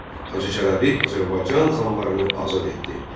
Hacı Çələbi Azərbaycan xanlarını azad etdi.